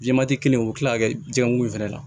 Jɛmati kelen u bɛ tila ka kɛ jɛkulu in fana na